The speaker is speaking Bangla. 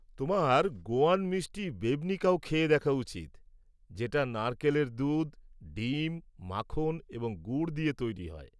তোমার গোয়ান মিষ্টি বেবনিকাও খেয়ে দেখা উচিত যেটা নারকেলের দুধ, ডিম, মাখন এবং গুড় দিয়ে তৈরি হয়।